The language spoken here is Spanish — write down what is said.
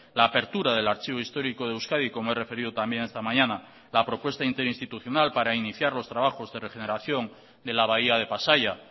la apertura del archivo histórico de euskadi como he referido también esta mañana la propuesta interinstitucional para iniciar los trabajos de regeneración de la bahía de pasaia